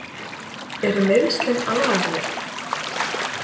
Eru meiðslin alvarleg?